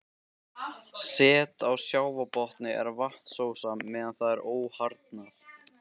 Set á sjávarbotni er vatnsósa meðan það er óharðnað.